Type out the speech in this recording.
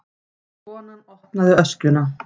Konan opnaði öskjuna.